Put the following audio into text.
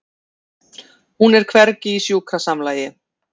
Hún er hvergi í sjúkrasamlagi.